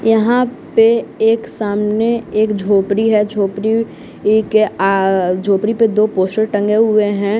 यहाँ पे एक सामने एक झोपड़ी है झोपड़ी ई के आ झोपड़ी पर दो पोशर टंगे हुए हैं।